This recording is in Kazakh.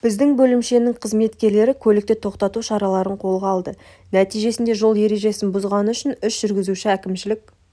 біздің бөлімшенің қызметкерлері көліктерді тоқтату шараларын қолға алды нәтижесінде жол ережесін бұзғаны үшін үш жүргізуші әкімшілік